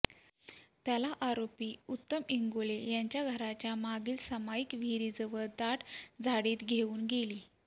त्याला आरोपी उत्तम इंगोले यांच्या घराच्या मागील समाईक विहिरीजवळ दाट झाडीत घेवून गेली